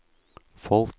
folk